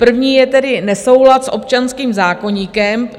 První je tedy nesoulad s občanským zákoníkem.